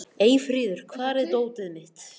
Eyfríður, hvar er dótið mitt?